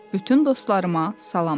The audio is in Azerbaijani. Bütün dostlarıma salam de.